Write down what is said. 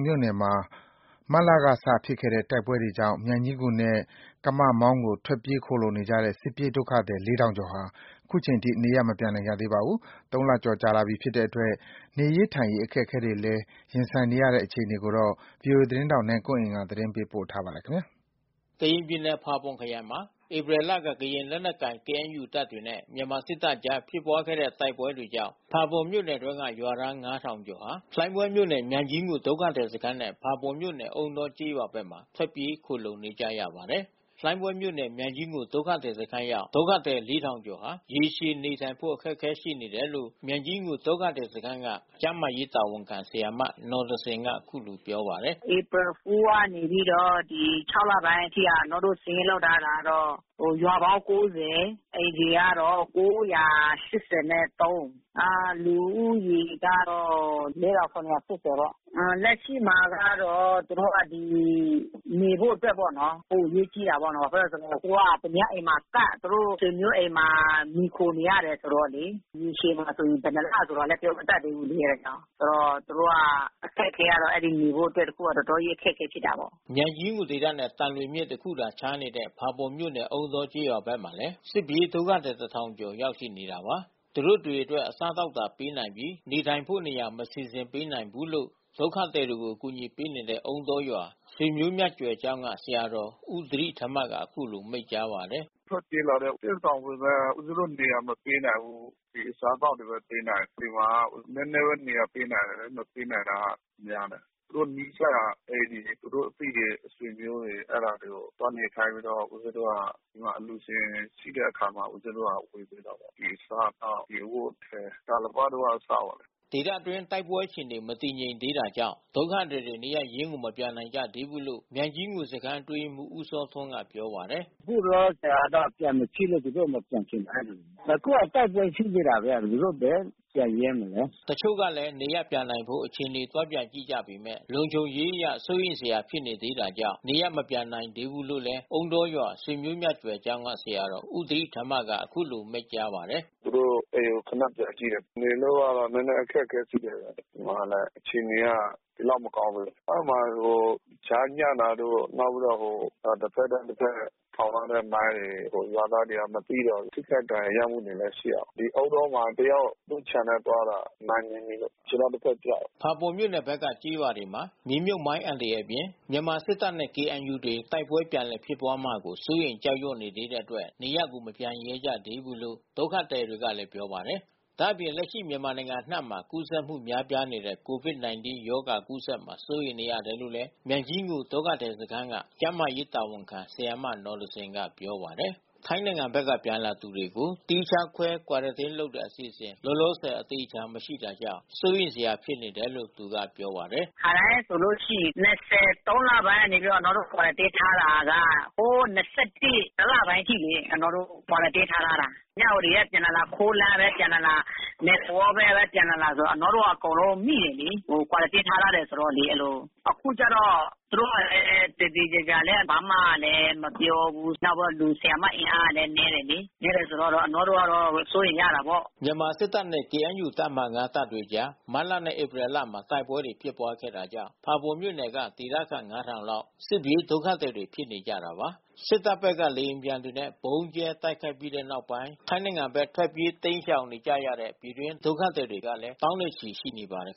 မြို့နယ်မွာ မတ်လက ဖြစ်ခဲ့တဲ့ တိုက်ပွဲကြောင့် မြိုင်ကြီးငူနဲ့ ကမောင်းကို ထွက်ပြေး ခိုလှုံနေကြတဲ့ စစ်ပြေး ဒုက္ခသည် ကျော်ဟာ ခုချိန်ထိ နေရပ် မပြန်နိုင်ကြသေးပါဘူး။ ၃ လကျော်ကြာလာပြီဖြစ်တဲ့အတွက် နေရေးထိုင်ရေး အခက်အခဲတွေလည်း ရင်ဆိုင်နေရတဲ့ အခြေအနေကို ဗီအိုအေသတင်းထောက်နိုင်ကွန်းအိန်ကနေ သတင်းပေးပို့ထားပါတယ်။ ကရင်ပြည်နယ် ဖာပွန်ခရိုင်မှာ ဧပြီလက ကရင်လက်နက်ကိုင် KNU တပ်တွေနဲ့ မြန်မာစစ်တပ်တို့ကြား ဖြစ်ပွားခဲ့တဲ့ တိုက်ပွဲ တွေကြောင့် ဖာပွန်မြို့နယ်အတွင်းက ရွာသား ကျော်ဟာ လှိုင်းဘွဲမြို့နယ် မြိုင်ကြီးငူဒုက္ခသည်စခန်းနဲ့ ဖာပွန်မြို့ နယ်အုန်းတောကျေးရွာဘက်မှာ ထွက်ပြေး ခိုလှုံနေကြပါတယ်။ လှိုင်းဘွဲမြို့နယ် မြိုင်ကြီးငူ ဒုက္ခသည်စခန်းရောက် ဒုက္ခသည် ကျော်ဟာ ရေရှည်နေထိုင်ဖို့ အခက်ခဲရှိနေတယ်လို့ မြိုင်ကြီးငူ ဒုက္ခသည်စခန်းက ကျန်းမာရေးတာဝန်ခံဆရာမ နော်သဇင်က အခုလိုပြောပါတယ်။ "ဧပြီ ကနေ လပိုင်းအထိက အနောတို့စာရင်းလုပ်ထားတာကတော့ ရွာပေါင်း အိမ်ခြေကတော့ လူဦးရေက တော့ ပေါ့။ လက်ရှိမှာကတော့ သူတို့ကဒီမှာ နေဖို့အတွက်ပေါ့နော်။ ပိုအရေးကြီးတာပေါ့။ ဘာဖြစ်လို့လဲဆိုတော့ သူတို့က သူများအိမ်မှာကပ် သူတို့ဆွေမျိုးအိမ်မှာမှီခိုနေရတယ်ဆိုတော့လေ။ ရေရှည်မှာဆိုရင် ဘယ်နှစ်လဆိုတာပြောမတတ်သေးဘူးလေ။ အဲတာကြောင့်။ ဆိုတော့သူတို့ကအခက်ခဲက အဲဒီနေဖို့အတွက် တခုက တော်တော်ကြီးအခက်ခဲဖြစ်တာပေါ့။" မြိုင်ကြီးငူဒေသနဲ့သံလွင်မြစ်တခုခြားနေတဲ့ ဖာပွန်မြို့နယ်အုန်းတောကျေးရွာဘက်မှာလဲ စစ်ပြေးဒုက္ခသည် ကျော် ရောက်ရှိနေတာပါ။ သူတို့တွေအတွက် အစားအသောက်သာပေးနိုင်ပြီး နေထိုင်ဖို့ နေရာ မစီစဉ်ပေးနိုင်ဘူးလို့ ဒုက္ခသည်တွေကို အကူညီပေး နေတဲ့ အုန်းတောရွာ ဆွေမြတ်မျိုးကြွယ်ကျောင်းက ဆရာတော်ဦးသီရိဓမ္မကအခုလိုမိန့်ကြားပါတယ်။ "ထွက်ပြေးလာတဲ့စစ်ရှောင်ပေမဲ့ ဦးဇင်းတို့နေရာမပေးနိုင်ဘူး။ ဒီအစားအသောက်တွေဘဲပေးနိုင်တယ်။ ဒီမှာက နဲနဲဘဲနေရာ ပေးနိုင်တယ်။ မပေးနိုင်တာကများတယ်။ သူတို့နီးစပ်ရာအိမ်တွေ သူတို့အသိတွေ ဆွေမျိုးတွေ အဲတာတွေကို သွားနေခိုင်း ပြီးတော့ ဦးဇင်းတို့က အလှူရှင်ရှိတဲ့အခါမှာ ဦးဇင်းတို့က ဝေပေးတာပေါ့။ ဒီအစားအသောက် ဒီအဝတ်အထည်၊ တာလပတ် တို့ကအစပေါ့။" ဒေသတွင်းမှာ တိုက်ပွဲအခြေအနေ မတည်ငြိမ်သေးတာကြောင့် ဒုက္ခသည်တွေ နေရပ်ရင်းကိုမပြန်နိုင်ကြသေးဘူးလို့ မြိုင်ကြီး ငူစခန်း အတွင်းရေးမှူး ဦးစောထွန်းက ပြောပါတယ်။ "အခုလောလောဆယ်ကတော့ပြန်မဖြစ်လို့သူတို့မပြန်ချင်တာအဲဒီလို။ အခုကတိုက်ပွဲဖြစ်နေတာဘဲ သူတို့ဘယ်ပြန်ရဲမလဲ။" တချို့လည်း နေရပ်ပြန်နိုင်ဖို့ အခြေအနေ သွားပြန်ကြည့်ကြပေမယ့် လုံခြုံရေးအရ စိုးရိမ်စရာ ဖြစ်နေသေးတာကြောင့် နေရပ်မပြန်နိုင်သေးဘူလို့လဲ အုန်းတောရွာ ဆွေမြတ်မျိုးကြွယ်ကျောင်းက ဆရာတော်ဦးသီရိဓမ္မကအခုလိုမိန့်ကြားပါတယ်။ "သူတို့အိမ်ကိုခဏပြန်ကြည့်တယ်။ နေလို့ကတော့နဲနဲအခက်ခဲရှိနေပါတယ်။ ဟိုမှာကလဲအခြေအနေက ဒီလောက်မကောင်းဘူး လေ။ အဲဒီမှာဟိုကြားညှပ်တာတို့ နောက်ပြီးတော့ဟို တဖက်နဲ့တဖက်ထောင်ထားတဲ့ မိုင်းတွေရွာသားတွေက မသိတော့ ထိခိုက်ဒဏ်ရာရမှုကလဲရှိတာပေါ့။ ဒီအုန်းတောမှာတယာက် သူ့ခြံထဲသွားတာ မိုင်းနင်းမိလို့ခြေထောက်တဖက်ပြတ်တယ်။" ဖာပွန်မြို့နယ်ဘက်က ကျေးရွာတွေမှာ မြေမြုပ်မိုင်းအန္တရာယ်အပြင် မြန်မာစစ်တပ်နဲ့KNU တွေ တိုက်ပွဲ ပြန်လည်ဖြစ်ပွားမှာကို စိုးရိမ် ကြောက်ရွံ့နေသေးတဲ့အတွက် နေရပ်ကို ပြန်မရဲကြသေးဘူးလို့ ဒုက္ခသည်တွေကလည်း ပြောပါတယ်။ ဒါ့အပြင် လက်ရှိမြန်မာနိုင်ငံအနှံ့မှာကူးစက်မှုများပြားနေတဲ့ COVID-19 ရောဂါကူးစက်မှာ စိုးရိမ်နေရတယ်လို့လဲ မြိုင်ကြီးငူဒုက္ခသည်စခန်းက ကျန်းမာရေးတာဝန်ခံ ဆရာမနော်သဇင်က ပြောပါတယ်။ ထိုင်းနိုင်ငံဖက်က ပြန်လာသူတွေကို သီးခြားခွဲ ကွာရန်တင်းလုပ်တဲ့ အစီအစဉ် လောလောဆယ် အသေအချာမရှိတာကြောင့် ပိုပြီး စိုးရိမ်စရာဖြစ်နေတယ်လို့ သူကပြောပါ တယ်။ "ခါတိုင်းဆိုလို့ရှိရင် ၂၀ သုံးလပိုင်းကနေပြီးတော့ အနောတို့ Quarantine ထားတာက ဟို တလပိုင်းအထိလေ။ အနောတို့ Quarantine ထား။ မြဝတီကပြန်လာလာ။ ခိုးလမ်းကပြန်လာလာ၊ မဲသဝေါဘက်ဘဲပြန်လာလာ၊ ဆိုတော့ အကုန် လုံးမိတယ်လေ။ Quarantine ထားထားတယ်ဆိုတော့လေ။ အဲဒီလို။ အခုကျတော့ သူတို့ကလဲ သေသေချာချာလဲဘာမှမပြောဘူး။ နောက်ပြီးတော့ လူ ဆရာမအင်အားကလဲနဲတယ်လေ။ နဲတယ်ဆိုတော့အနောတို့က စိုးရိမ်တယ်ပေါ့။" မြန်မာစစ်တပ်နဲ့ KNU တပ်မဟာ တပ်တွေကြား မတ်လနဲ့ဧပြီလမှာ တိုက်ပွဲတွေ ဖြစ်ပွားခဲ့တာကြောင့် ဖာပွန်မြို့ နယ်က ဒေသခံ ၅ ထောင်လောက် စစ်ပြေးဒုက္ခသည်တွေ ဖြစ်နေကြတာပါ။ စစ်တပ်ဖက်က လေယာဉ်တွေနဲ့ ဗုံးကြဲတိုက်ခိုက်ခဲ့ပြီး နောက်ပိုင်း ထိုင်းနယ်စပ်ဖက် ထွက်ပြေးတိမ်း ရှောင်နေကြရတဲ့ ပြည်တွင်းဒုက္ခသည်ကလည်း သောင်းနဲ့ချီ ရှိနေပါတယ်